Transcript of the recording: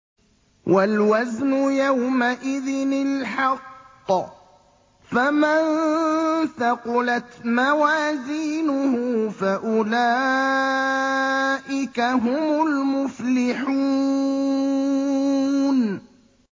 وَالْوَزْنُ يَوْمَئِذٍ الْحَقُّ ۚ فَمَن ثَقُلَتْ مَوَازِينُهُ فَأُولَٰئِكَ هُمُ الْمُفْلِحُونَ